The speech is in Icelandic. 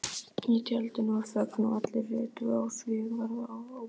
Í tjaldinu varð þögn og allir litu á Sigvarð ábóta.